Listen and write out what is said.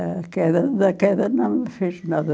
A queda da queda não me fez nada.